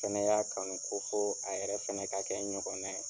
O Fɛnɛ y'a kanu ko fo a yɛrɛ fɛnɛ ka kɛ n ɲɔgɔnna ye.